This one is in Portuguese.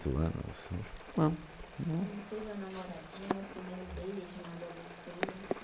anos, não, não. Você não teve uma namoradinha, um primeiro beijo, uma adolescência?